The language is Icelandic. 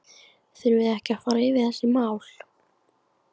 Þurfum við ekki að fara yfir þessi mál?